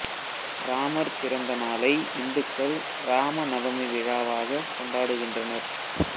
இராமர் பிறந்த நாளை இந்துக்கள் இராம நவமி விழாவாகக் கொண்டாடுகின்றனர்